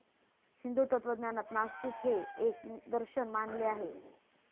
हिंदू तत्वज्ञानांत नास्तिक हे एक दर्शन मानले आहे.